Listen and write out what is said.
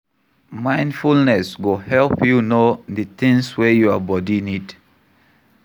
Mindfulness go help you know di things wey your body need